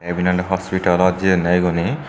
iben awle hospitelot jeyonne igune.